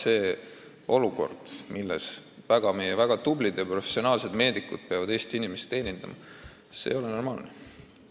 Ei ole normaalne, et meie väga tublid ja professionaalsed meedikud peavad Eesti inimesi teenindama säärastes olmetingimustes.